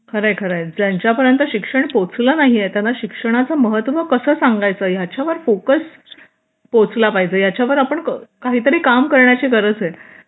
खरे खरे ज्यांच्या पर्यंत शिक्षण पोहोचलं नाहीये त्यांना शिक्षणाचे महत्त्व कसं सांगायचं याच्यावर फोकस पोहोचला पाहिजे याच्यावर आपण काहीतरी काम करण्याची गरज आहे